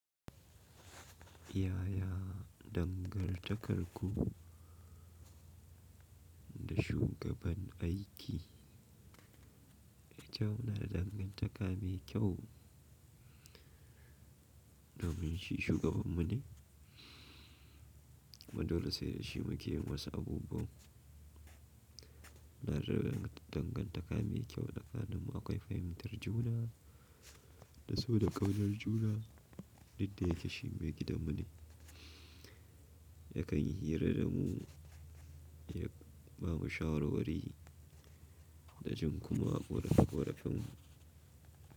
Yaya dangantakarku da shugaban aiki? Kyau, na da dangantaka mai kyau domin shi shugabanmu ne. Kuma dole sai da shi muke yi masa abubuwa. Na da dangantaka mai kyau da kaninmu akwai fahimtar juna da so da ƙaunar juna. Duk da yake shi me gidanmu ne. Yakan yi hira da mu, ya ba mu shawarwari da jin kuma ƙorafe korafenmu.